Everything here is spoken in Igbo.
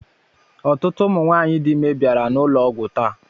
Ọtụtụ ụmụ nwaanyị dị ime bịara n'ụlọ ọgwụ taa.